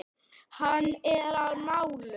Hann er á nálum.